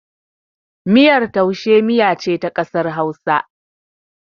Miyar taushe miya ce ta ƙasar Hausa.